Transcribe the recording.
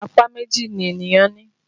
Apá méjì ni ènìyàn ní